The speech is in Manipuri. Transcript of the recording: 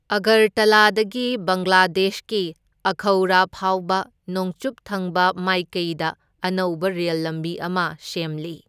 ꯑꯒꯔꯇꯂꯥꯗꯒꯤ ꯕꯪꯒ꯭ꯂꯥꯗꯦꯁꯀꯤ ꯑꯈꯧꯔꯥ ꯐꯥꯎꯕ ꯅꯣꯡꯆꯨꯞ ꯊꯪꯕ ꯃꯥꯏꯀꯩꯗ ꯑꯅꯧꯕ ꯔꯦꯜ ꯂꯝꯕꯤ ꯑꯃ ꯁꯦꯝꯂꯤ꯫